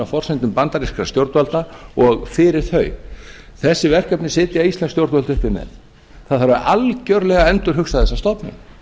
forsendum bandarískra stjórnvalda og fyrir þau þessi verkefni sitja íslensk stjórnvöld uppi með það þarf algjörlega að endurhugsa þessa stofnun